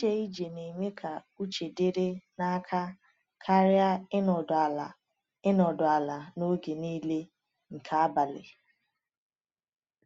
Ije ije na-eme ka uche dịrị n’aka karịa ịnọdụ ala ịnọdụ ala n’oge niile nke abalị.